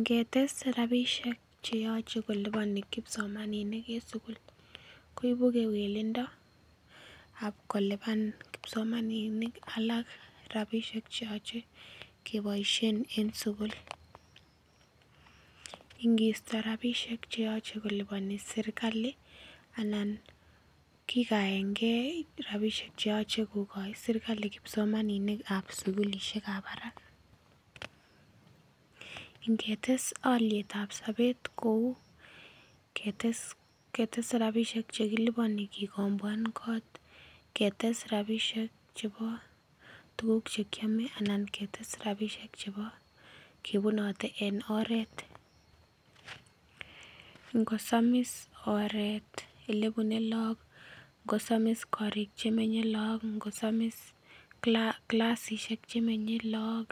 Ngetes rapisiek cheyoche koliboni kipsomaninik en sugul koibu kewelindo ak koliban kipsomaninik alak cheoche keboisien en sugul, ngisto rapisiek cheyoche koliboni serkali anan kikaengee rapisiek cheyoche koliboni serkali anan kikaengee rapisiek cheyoche kokoi serkali kipsomaninik ab sugulisiek ab barak. Ngetes oliet ab sobet kou ketes rapisiek chekiliboni kikomboanen kot ketes rapisiek chebo tuguk chekiome anan ketes rapisiek chebo kebunote en oret. Ngosamis oret elebune look, ngosomis korik chemenye look, ngosamis clasisiek chemenye look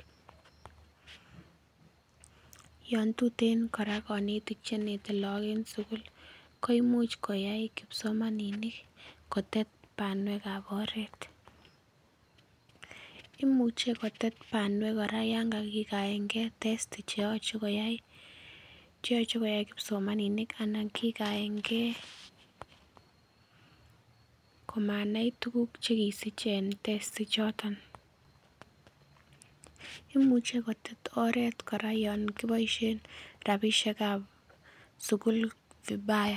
yon tuten kora konetik chenete look en sugul koimuch koyai kipsomaninik kotet banwek ab oret. Imuche kotet kora oret yan kakikaengee testi cheyoche koyai kipsomaninik anan kikaengee komanai tuguk chekisich en testi choton, imuche kotet oret kora yan kiboisien rapisiek ab sugul vibaya